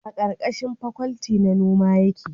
a karkashin fakwalti na noma yake